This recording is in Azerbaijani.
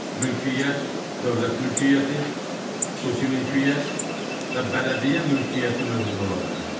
Mülkiyyət dövlət mülkiyyəti, xüsusi mülkiyyət və bələdiyyə mülkiyyəti növündə ola bilər.